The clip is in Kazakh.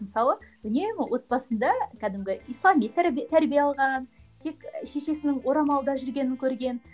мысалы үнемі отбасында кәдімгі ислами тәрбие алған тек шешесінің орамалда жүргенін көрген